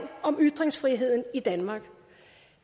om ytringsfriheden i danmark